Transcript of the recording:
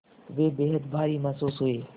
वे बेहद भारी महसूस हुए